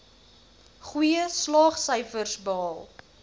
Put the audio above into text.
goeie slaagsyfers behaal